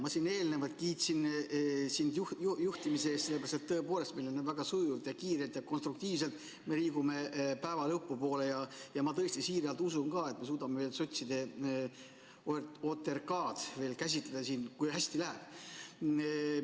Ma siin eelnevalt kiitsin sind juhtimise eest, sellepärast et tõepoolest me siin väga sujuvalt ja kiirelt ja konstruktiivselt liigume päeva lõpu poole, ja ma tõesti siiralt usun ka, et me suudame sotside OTRK-d veel käsitleda, kui hästi läheb.